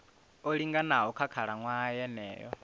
o linganaho nga khalaṅwaha yeneyo